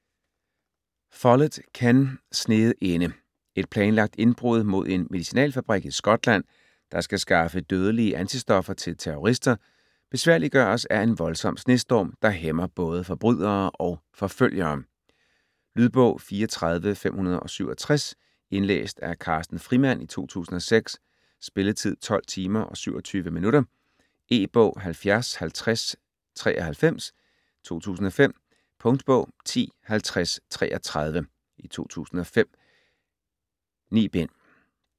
Follett, Ken: Sneet inde Et planlagt indbrud mod en medicinalfabrik i Skotland, der skal skaffe dødelige antistoffer til terrorister, besværliggøres af en voldsom snestorm, der hæmmer både forbrydere og forfølgere. Lydbog 34567 Indlæst af Carsten Frimand, 2006. Spilletid: 12 timer, 27 minutter. E-bog 705093 2005. Punktbog 105033 2005. 9 bind.